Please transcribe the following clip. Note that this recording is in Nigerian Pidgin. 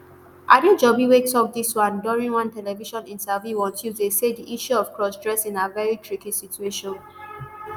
adejobi wey tok dis one during one television interview on tuesday say di issue of cross dressing na veri tricky situation